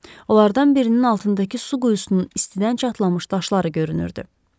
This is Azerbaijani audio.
Onlardan birinin altındakı su quyusunun istidən çatlamış daşları görünürdü.